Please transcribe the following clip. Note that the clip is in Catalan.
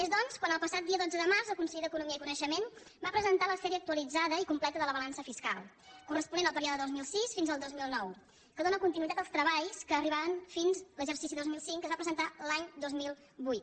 és doncs el passat dia dotze de març quan el conseller d’economia i coneixement va presentar la sèrie actu·alitzada i completa de la balança fiscal corresponent al període des del dos mil sis fins al dos mil nou que dóna conti·nuïtat als treballs que arribaven fins a l’exercici dos mil cinc que es van presentar l’any dos mil vuit